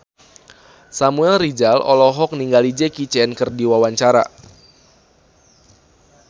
Samuel Rizal olohok ningali Jackie Chan keur diwawancara